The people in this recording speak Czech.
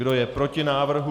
Kdo je proti návrhu?